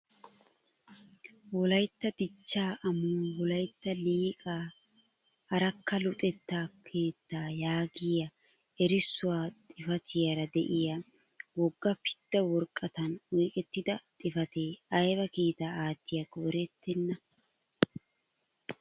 "Wolaytta dichchaa amuwaan wolaytta Liiqaa Arakka luxettaa keettaa" yaagiyaa erissuwa xifatiyaara de'iyaa wogga pidda woraqatan oyqqettida xifatee ayba kiitaa aattiyaakko erettena!